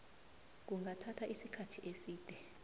kungathatha isikhathi eside